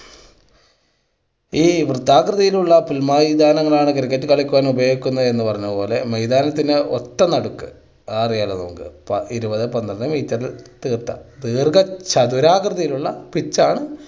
ഈ വൃത്താകൃതിയിലുള്ള പുൽമൈതാനങ്ങളാണ് cricket കളിക്കാൻ ഉപയോഗിക്കുന്നത് എന്ന് പറഞ്ഞത് പോലെ മൈതാനത്തിൻ്റെ ഒത്ത നടുക്ക് അതറിയാലൊ നമുക്ക് ഇരുപത് പന്ത്രണ്ട് meter റിൽ തീർത്ത ദീർഘ ചതുരാകൃതിയിൽ ഉള്ള pitch ആണ്